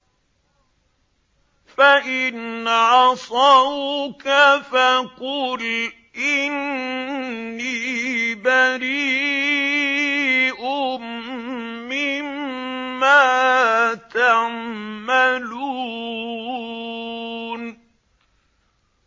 فَإِنْ عَصَوْكَ فَقُلْ إِنِّي بَرِيءٌ مِّمَّا تَعْمَلُونَ